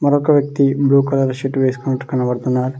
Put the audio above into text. మరొక వ్యక్తి blue colour shirt వేసుకొని కనపడుతున్నారు.